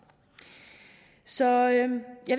så jeg vil